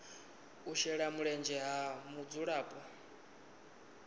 u shela mulenzhe ha mudzulapo